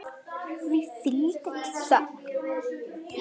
Því fylgdi ekki þögn.